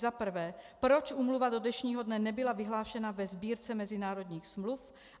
Za prvé: Proč Úmluva do dnešního dne nebyla vyhlášena ve Sbírce mezinárodních smluv?